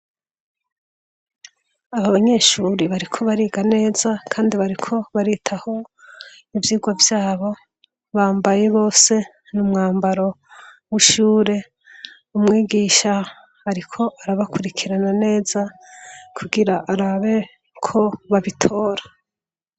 Abanyeshure bariko bariga neza kandi bariko baritaho ivyigwa vyabo, bambaye bose umwambaro w'ishure, umwigisha ariko arabakurikirana neza kugira arabe ko babitora.